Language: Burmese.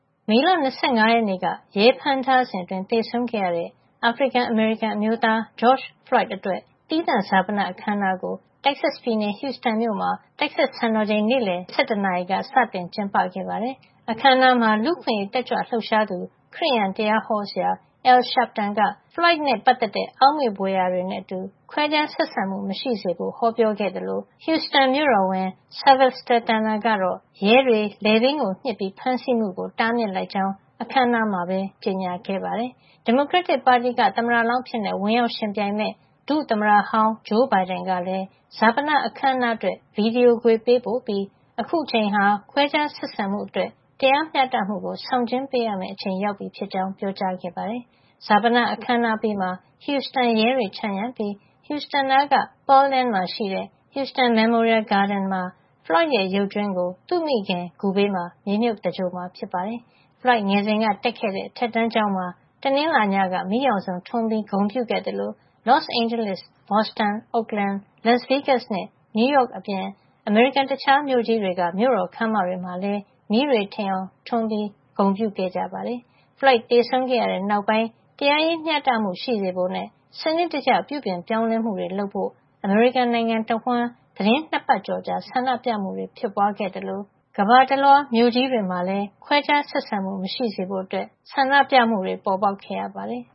မေလ ၂၅ ရက်နေ့က ရဲဖမ်းထားစဉ်အတွင်း သေဆုံးခဲ့ရတဲ့ အာဖရိကန် - အမေရိကန် အမျိုးသား George Floyd အတွက် သီးသန့်ဈာပန အခမ်းအနားကို Texas ပြည်နယ်က Houston မြို့မှာ Texas စံတော်ချိန် နေ့လည် ၁၁ နာရီက စတင်ကျင်းပခဲ့ပါတယ်။ အခမ်းအနားမှာ လူ့အခွင့်ရေးတက်ကြွလှုပ်ရှားသူ ခရစ်ယာန်တရားဟောဆရာ Al Sharpton က Floyd နဲ့ပတ်သက်တဲ့ အောက်မေ့ဘွယ် ရာတွေနဲ့အတူ ခွဲခြားဆက်ဆံမှု မရှိစေဖို့ ဟောပြောခဲ့သလို Huston မြို့တော်ဝန် Sylvester Turner ကတော့ ရဲတွေ လည်ပင်းကို ညှစ်ပြီး ဖမ်းဆီးမှုကို တားမြစ်လိုက်ကြောင်း အခမ်းအနားမှာပဲ ကြေညာခဲ့ပါတယ်။ ဒီမိုကရက်တစ်ပါတီက သမ္မတလောင်းအဖြစ် ဝင်ရောက်ယှဉ်ပြိုင်မယ့် ဒုသမ္မတဟောင်း ဂျိုးဘိုင်ဒင်က လည်း ဈာပနအခမ်းအနားအတွက် ဗီဒီယို ခွေ ပေးပို့ပြီး အခုအချိန်ဟာ ခွဲခြားဆက်ဆံမှုအတွက် တရားမ ျှတမှုကို ဆောင်ကျဉ်းပေးရမယ့်အချိန်ရောက်ပြီ ဖြစ်ကြောင်း ပြောပါတယ်။ ဈာပန အခမ်းအနားအပြီးမှာ Houston ရဲတွေ ခြံရံပြီး Houston နားက Pearland မှာ ရှိတဲ့ Houston Memorial Gardens မှာ Floyd ရဲ့ ရုပ်ကြွင်းကို သူ့မိခင် ဂူဘေးမှာ မြေမြုပ် သင်္ဂြ ိုလ်မှာ ဖြစ်ပါတယ်။ Floyd ငယ်စဉ်က တက်ခဲ့တဲ့ အထက်တန်းကျောင်းမှာ တနင်္လာနေ့ညက မီးရောင်စုံထွန်းပြီး ဂုဏ်ပြု ခဲ့သလို Los Angeles, Boston, Oakland, Las Vegas နဲ့ New York အပြင် အမေရိကန် တခြားမြို့ကြီးတွေက မြို့တော်ခန်းမတွေမှာလည်း မီးတွေ ထိန်အောင်ထွန်းပြီး ဂုဏ်ပြုခဲ့ပါတယ်။ Floyd သေဆုံးခဲ့တဲ့ နောက်ပိုင်း တရားရေး မ ျှတမှု ရှိစေဖို့နဲ့ စနစ်တကျ ပြုပြင်ပြောင်းလဲမှုတွေ လုပ်ဖို့ အမေရိကန်နိုင်ငံတဝှမ်း သီတင်း ၂ ပတ်ကျော်ကြာ ဆန္ဒပြမှုတွေ ဖြစ်ပွားခဲ့သလို ကမ္ဘာတလွှား မြို့ကြီးတွေမှာ ခွဲခြားဆက်ဆံမှု မရှိစေဖို့ ဆန္ဒပြမှုတွေ ပေါ်ပေါက်ခဲ့ရပါတယ်